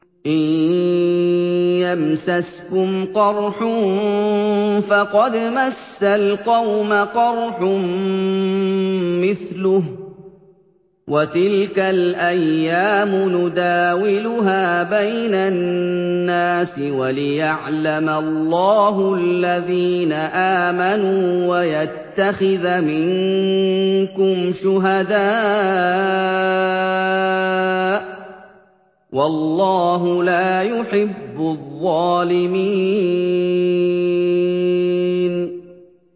إِن يَمْسَسْكُمْ قَرْحٌ فَقَدْ مَسَّ الْقَوْمَ قَرْحٌ مِّثْلُهُ ۚ وَتِلْكَ الْأَيَّامُ نُدَاوِلُهَا بَيْنَ النَّاسِ وَلِيَعْلَمَ اللَّهُ الَّذِينَ آمَنُوا وَيَتَّخِذَ مِنكُمْ شُهَدَاءَ ۗ وَاللَّهُ لَا يُحِبُّ الظَّالِمِينَ